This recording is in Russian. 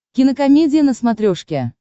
кинокомедия на смотрешке